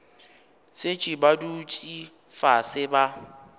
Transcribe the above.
šetše ba dutše fase ba